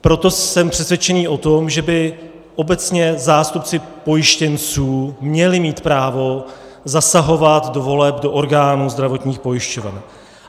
Proto jsem přesvědčen o tom, že by obecně zástupci pojištěnců měli mít právo zasahovat do voleb do orgánů zdravotních pojišťoven.